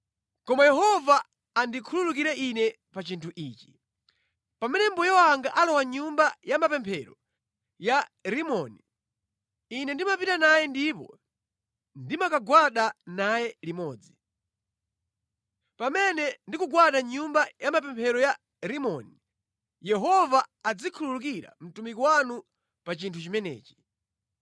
Koma Yehova andikhululukire ine pa chinthu ichi: Pamene mbuye wanga alowa mʼnyumba ya mapemphero ya Rimoni ine ndimapita naye ndipo ndimakagwada naye limodzi. Pamene ndikugwada mʼnyumba ya mapemphero ya Rimoni, Yehova azikhululukira mtumiki wanu pa chinthu chimenechi.”